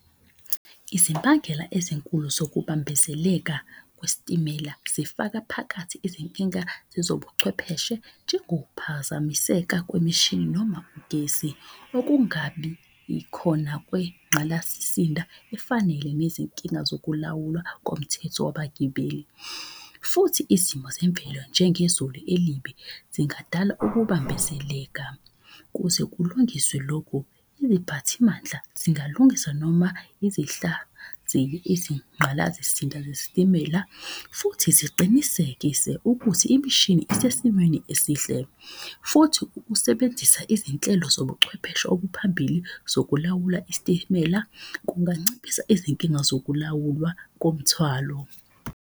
Izimbangela ezinkulu zokubambezeleka kwesitimela zifaka phakathi izinkinga zezobuchwepheshe njengokuphazamiseka kwemishini noma ugesi. Ukungabi khona kwenqalasisinda efanele nezinkinga zokulawula komthetho wabagibeli. Futhi izimo zemvelo njengezulu elibi zingadala ukubambezeleka. Kuze kulungiswe lokhu iziphathimandla zingalungisa noma izingqala zesitimela. Futhi ziqinisekise ukuthi imishini zisesimweni esihle. Futhi ukusebenzisa izinhlelo zobuchwepheshe obuphambili zokulawula isitimela kunganciphisa izinkinga zokulawula komthwalo.